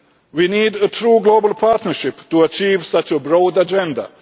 We need a true global partnership to achieve such a broad agenda.